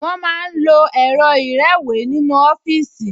Wọ́n máa ń lo ẹ̀rọ ìrẹ́wèé nínú ọfíìsì